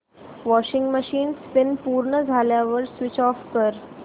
washing machine spin पूर्ण झाल्यावर switch off कर